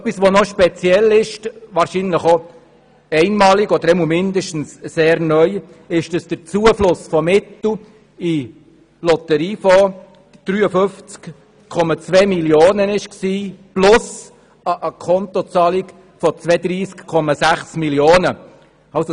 Noch speziell und einmalig oder zumindest sehr neu ist, dass der Zufluss von Mitteln in den Lotteriefonds 53,2 Mio. Franken ausmachte plus Akontozahlungen von 32,6 Mio. Franken.